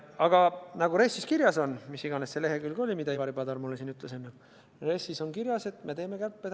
Aga nagu RES-is on kirjas – mis iganes see lehekülg oli, mida Ivari Padar mulle siin enne ütles –, me teeme kärpeid.